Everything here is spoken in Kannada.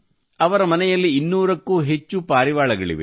ಅವರ ಮನೆಯಲ್ಲಿ 200 ಕ್ಕೂ ಅಧಿಕ ಪಾರಿವಾಳಗಳಿವೆ